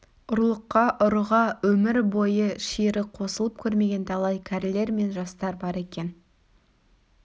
ұрлыққа ұрыға өмір бойы шиыры қосылып көрмеген талай кәрілер мен жастар бар екен